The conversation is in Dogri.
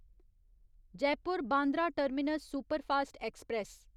Jaipur Bandra terminus superfast express